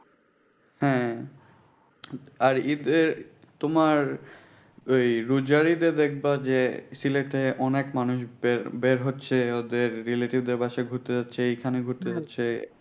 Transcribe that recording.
হ্যাঁ আর ঈদের তোমার ঐ রোজার ঈদে দেখবা যে সিলেটে অনেকে মানুষ বের হচ্ছে, ওদের relative দের বাসায় ঘুরতে যাচ্ছে, এখানে ঘুরতে যাচ্চে।